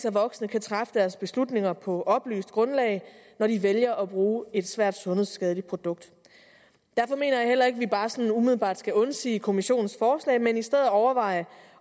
at voksne kan træffe deres beslutninger på oplyst grundlag når de vælger at bruge et svært sundhedsskadeligt produkt derfor mener jeg heller ikke at vi bare sådan umiddelbart skal undsige kommissionens forslag men i stedet overveje